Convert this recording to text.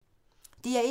DR1